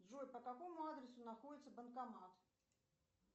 джой по какому адресу находится банкомат